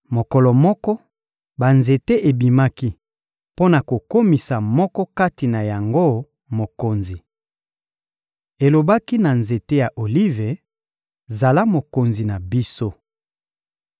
Mokolo moko, banzete ebimaki mpo na kokomisa moko kati na yango mokonzi. Elobaki na nzete ya Olive: ‹Zala mokonzi na biso.›